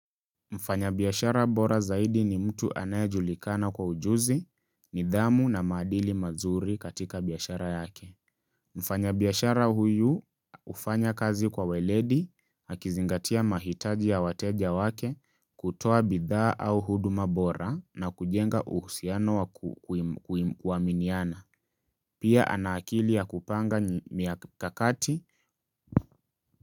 Mfanya biashara bora zaidi ni mtu anayejulikana kwa ujuzi, nidhamu na maadili mazuri katika biashara yake. Mfanya biashara huyu hufanya kazi kwa uweledi, akizingatia mahitaji ya wateja wake, kutoa bidhaa au huduma bora na kujenga uhusiano wa kuaminiana. Pia ana akili ya kupanga mikakati.